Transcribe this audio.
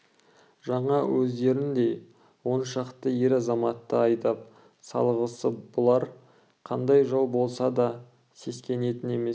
жаңа өздеріндей он шақты ер-азаматты айдап салғалы бұлар қандай жау болса да сескенетін емес